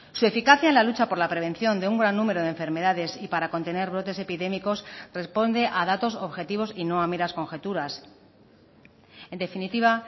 su eficacia en la lucha por la prevención de un gran número de enfermedades y para contener brotes epidémicos responde a datos objetivos y no a meras conjeturas en definitiva